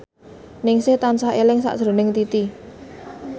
Ningsih tansah eling sakjroning Titi